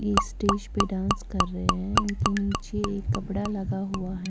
ये स्टेज पर डांस कर रहे हैं उनके नीचे कपड़ा लगा हुआ है।